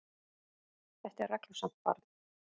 Þetta er reglusamt barn.